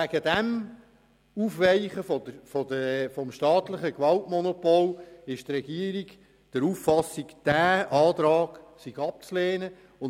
Wegen dieser Aufweichung des staatlichen Gewaltmonopols ist die Regierung der Auffassung, dieser Antrag sei abzulehnen.